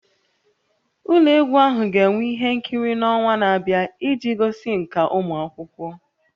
Ụlọ egwu ahụ ga-enwe ihe nkiri n'ọnwa na-abịa iji gosi nkà ụmụ akwụkwọ